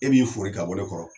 E b'i fori ka bɔ ne kɔrɔ.